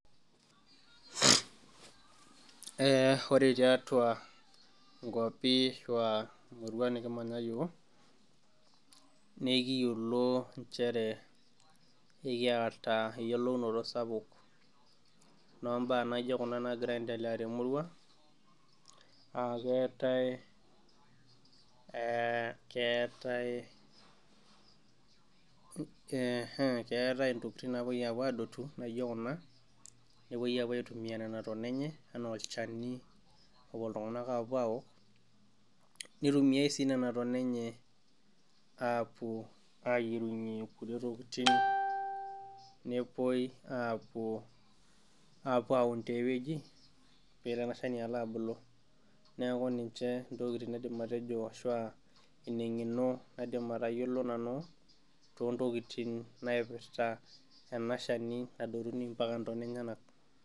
Ee ore tiatua nkuapi ashu emurua nikimanya iyiook naa ekiyolo ekiata eyiolounoto sapuk, obaa naijo Kuna naagira aendelea temurua, aa keetae keetae ntokitin napuoi apuo adptu naijo Kuna, nepuoi aitumia Nena tona enye, anaa olchani nepuo iltunganak aapuo aok. naitumiae sii Nena tona enye apuo ayiengunye kulie tokitin, nepuoi apuo aun tiae wueji pee itoki ele Shani aitoki alo abulu, neeku ninche ntokitin nidim atejo ashu aa enino naidim atayiolo nanu too ntokitin naipirta ena Shani nadotuni mpaka ntona enyenak.